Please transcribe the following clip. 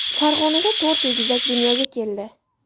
Farg‘onada to‘rt egizak dunyoga keldi.